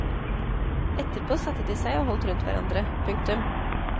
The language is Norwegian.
Etterpå satte de seg og holdt rundt hverandre. punktum